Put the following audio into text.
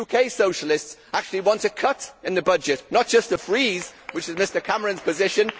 The UK socialists actually want a cut in the budget, not just a freeze, which is Mr Cameron's position.